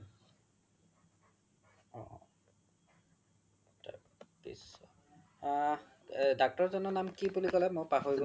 আ doctor জনৰ নাম কি বুলি ক্'লে মই পাহৰিলো